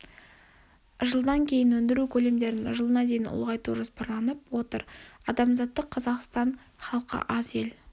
жылдан кейін өндіру көлемдерін жылына дейін ұлғайту жоспарланып отыр адамзаттық қазақстан-халқы аз ел